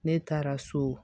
Ne taara so